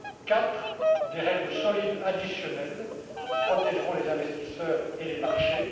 Quatrièmement, des règles solides additionnelles qui protégeront les investisseurs et les marchés.